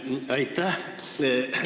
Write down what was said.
Aitäh!